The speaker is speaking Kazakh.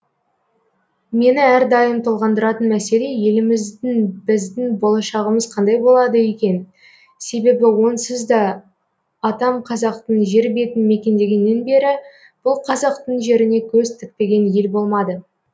мені әрдайым толғандыратын мәселе еліміздің біздің болашағымыз қандай болады екен себебі онсыз да атам қазақтың жер бетін мекендегеннен бері бұл қазақтың жеріне көз тікпеген ел болмады